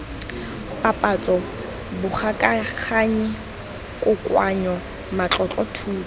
papatso bogokaganyi kokoanyo matlotlo thuto